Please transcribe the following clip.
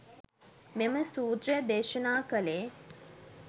මෙම සූත්‍රය දේශනා කළේ.